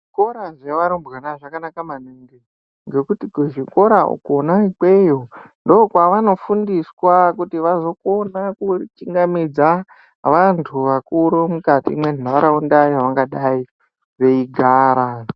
Zvikora zvavarumbwana zvakanaka maningi ngekuti kuzvikora kwona ikweyo ndokwavanofundiswa kuti vazokona kuchingamidza vantu vakuru mukati mwenharaunda yavangadi veigara